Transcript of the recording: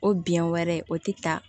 O biyɛn wɛrɛ o tɛ ta